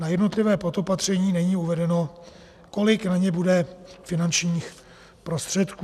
Na jednotlivá podopatření není uvedeno, kolik na ně bude finančních prostředků.